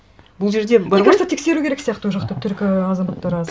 бұл жерде бар ғой мне кажется тексеру керек сияқты ол жақта түрік азаматтары аз